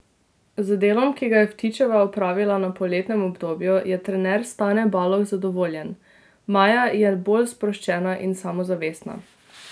Z delom, ki ga je Vtičeva opravila v poletnem obdobju, je trener Stane Baloh zadovoljen: 'Maja je bolj sproščena in samozavestna.